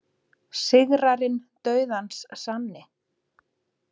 Sigrarinn dauðans sanni,